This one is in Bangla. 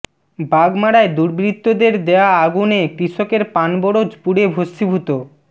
বাগমারায় দুর্বৃত্তদের দেয়া আগুনে কৃষকের পান বরজ পুড়ে ভষ্মিভূত